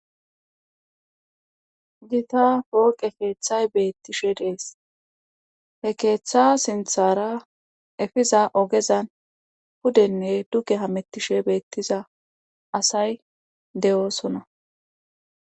gita pooqe keeththay beettishe dees he keeththa sinthara efiza ogezan pudenne duke hamettishe beettiza asay de7oosona